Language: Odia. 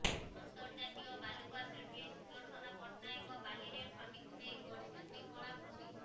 ଅନ୍ତର୍ଜାତୀୟ ବାଲୁକା ଶିଳ୍ପୀ ସୁଦର୍ଶନ ପଟ୍ଟନାୟକ ବାଲିରେ ଫନିକୁ ନେଇ ଗଢିଛନ୍ତି କଳାକୃତି